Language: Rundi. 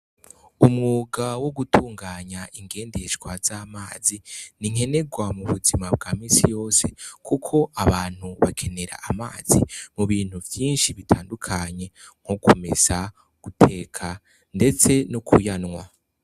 Umwuga wo gutunganya ingendeshwa z'amazi, n'inkenerwa mu buzima bwa misi yose. kuko abantu bakenera amazi mu bintu vyinshi bitandukanye mu ku mesa, guteka ndetse no kuyanwa.